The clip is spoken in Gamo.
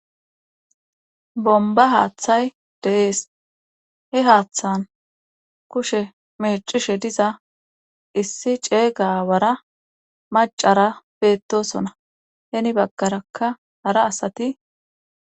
bomba haaththay de'ees. he haaththan kushe meecishe diza issi ceega Aawara macara beettosona. heni baggaraka hara asati